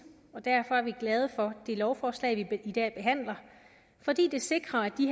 og derfor er vi glade for det lovforslag vi i dag behandler fordi det sikrer at de